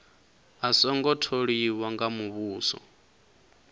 a songo tholiwa nga muvhuso